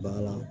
Baara la